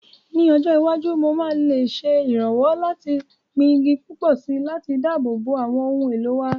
Ní ọjọ́ iwájú, mo lè ṣe ìrànlọ́wọ́ láti gbin igi púpọ̀ sí i láti dáàbò bo àwọn ohun èlò wa.